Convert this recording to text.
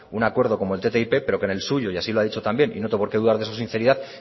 un acuerdo como el ttip pero que en el suyo y así lo ha dicho también y no tengo por qué dudar de su sinceridad